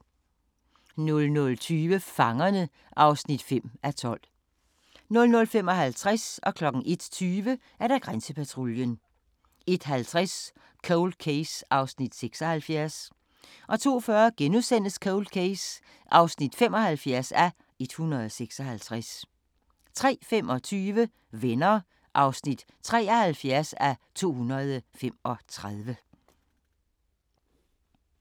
00:20: Fangerne (5:12) 00:55: Grænsepatruljen 01:20: Grænsepatruljen 01:50: Cold Case (76:156) 02:40: Cold Case (75:156)* 03:25: Venner (73:235)